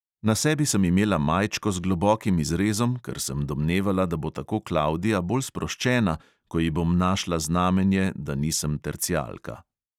Na sebi sem imela majčko z globokim izrezom, ker sem domnevala, da bo tako klavdija bolj sproščena, ko ji bom našla znamenje, da nisem tercialka.